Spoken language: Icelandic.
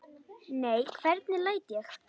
Nei, hvernig læt ég?